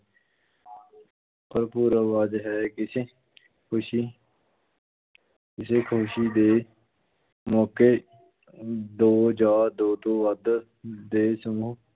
ਭਰਪੂਰ ਆਵਾਜ਼ ਹੈ, ਕਿਸੇ ਖ਼ੁਸ਼ੀ ਕਿਸੇ ਖ਼ਸ਼ੀ ਦੇ ਮੌਕੇ ਅਮ ਦੋ ਜਾਂ ਦੋ ਤੋਂ ਵੱਧ ਦੇ ਸਮੂਹ